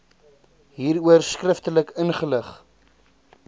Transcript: hieroor skriftelik ingelig